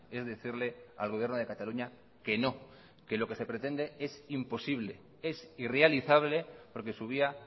es decirle al gobierno de cataluña que no que lo que sepretende es imposible es irrealizable porque su vía